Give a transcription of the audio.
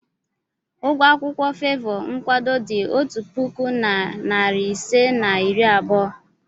Ụgwọ akwụkwọ favour nkwado dị otu puku na narị ise na iri abụọ.